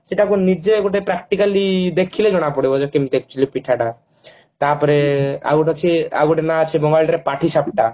ସେଟାକୁ ନିଜେ ଗୋଟେ practically ଦେଖିଲେ ଜଣା ପଡିବ ଯେ କେମତି actually ପିଠା ଟା ତା ପରେ ଆଉ ଟେ ଅଛି ଆଉ ଗୋଟେ ନା ଅଛି ବଙ୍ଗାଳୀରେ ପାଠି ସାପଟା